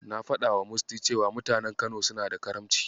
Na faɗawa muce cewa mutanen Kano suna da Karamci.